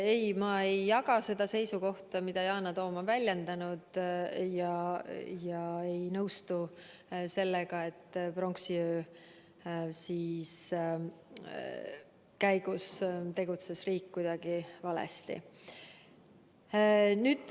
Ei, ma ei jaga seda seisukohta, mida Yana Toom on väljendanud, ja ei nõustu sellega, et pronksiöö käigus tegutses riik kuidagi valesti.